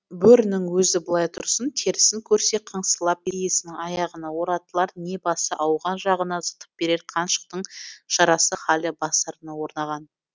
бөрінің өзі былай тұрсын терісін көрсе қыңсылап иесінің аяғына оратылар не басы ауған жағына зытып берер қаншықтың шарасыз халі бастарына орнаған